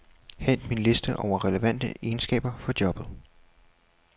Hent min liste over relevante egenskaber for jobbet.